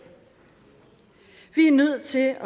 vi er nødt til at